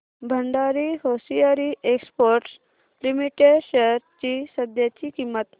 Bhandari hosiery exports limited shares ची सध्याची किंमत